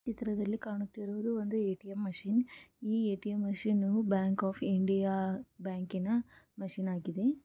ಈ ಚಿತ್ರದಲ್ಲಿ ಕಾಣುತ್ತಿರುವುದು ಒಂದು ಎ.ಟಿ.ಎಂ ಮಷೀನ್ ಈ ATM machine bank of India ಬ್ಯಾಂಕಿ ನ ಮಷಿನ್ ಆಗಿದೆ.